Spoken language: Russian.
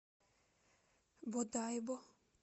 бодайбо